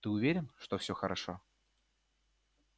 ты уверен что всё хорошо